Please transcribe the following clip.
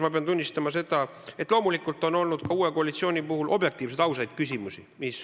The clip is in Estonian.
Ma pean tunnistama, et loomulikult on olnud ka uue koalitsiooni puhul objektiivseid, ausaid küsimusi.